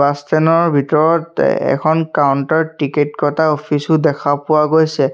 Bus stand ৰ ভিতৰত এখন কাউন্টাৰ টিকট কটা অফিচ ও দেখা পোৱা গৈছে।